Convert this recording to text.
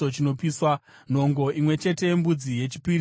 nhongo imwe chete yembudzi yechipiriso chechivi;